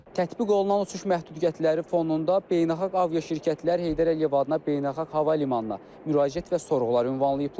Tətbiq olunan uçuş məhdudiyyətləri fonunda beynəlxalq aviaşirkətlər Heydər Əliyev adına beynəlxalq hava limanına müraciət və sorğular ünvanlayıblar.